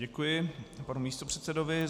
Děkuji panu místopředsedovi.